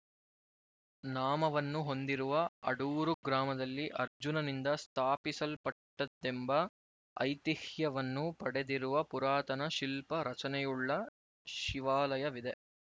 ನಾಮವನ್ನು ಹೊಂದಿರುವ ಅಡೂರು ಗ್ರಾಮದಲ್ಲಿ ಅರ್ಜುನನಿಂದ ಸ್ಥಾಪಿಸಲ್ಪಟ್ಟದ್ದೆಂಬ ಐತಿಹ್ಯವನ್ನು ಪಡೆದಿರುವ ಪುರಾತನ ಶಿಲ್ಪ ರಚನೆಯುಳ್ಳ ಶಿವಾಲಯವಿದೆ